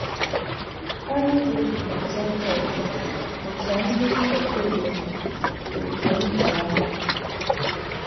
Aịzìk nà Jèkọ̀b bụ̀chà ńdí nkètà nke òtú nkwà àhụ̀.